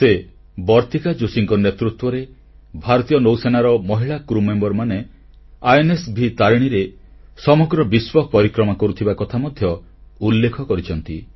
ସେ ବର୍ତ୍ତିକା ଯୋଶୀଙ୍କ ନେତୃତ୍ୱରେ ଭାରତୀୟ ନୌସେନାର ମହିଳା ସହଯାତ୍ରୀମାନେ INSତାରିଣୀରେ ସମଗ୍ର ବିଶ୍ୱ ପରିକ୍ରମା କରୁଥିବା କଥା ମଧ୍ୟ ଉଲ୍ଲେଖ କରିଛନ୍ତି